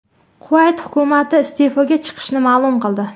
Kuvayt hukumati iste’foga chiqishini ma’lum qildi.